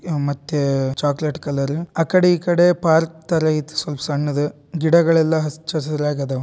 ಇದು ಮತ್ತೆ chocolate colour ಆಕಡೆ ಈಕಡೆ ಪಾರ್ಕ್ ತರ ಇದೆ ಸ್ವಲ್ಪ ಸಣ್ಣದು ಗಿಡಗಳು ಅಚ್ಚಹಸಿರಾಗಿದಾವೆ.